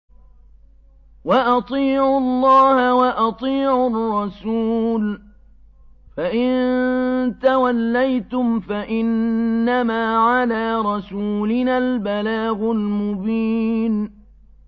وَأَطِيعُوا اللَّهَ وَأَطِيعُوا الرَّسُولَ ۚ فَإِن تَوَلَّيْتُمْ فَإِنَّمَا عَلَىٰ رَسُولِنَا الْبَلَاغُ الْمُبِينُ